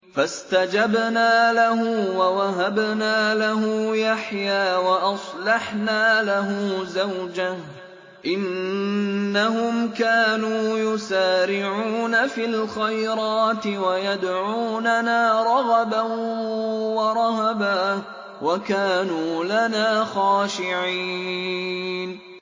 فَاسْتَجَبْنَا لَهُ وَوَهَبْنَا لَهُ يَحْيَىٰ وَأَصْلَحْنَا لَهُ زَوْجَهُ ۚ إِنَّهُمْ كَانُوا يُسَارِعُونَ فِي الْخَيْرَاتِ وَيَدْعُونَنَا رَغَبًا وَرَهَبًا ۖ وَكَانُوا لَنَا خَاشِعِينَ